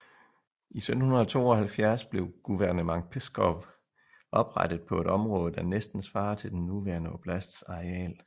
I 1772 blev Guvernement Pskov oprettet på et område der næsten svarer til den nuværende oblasts areal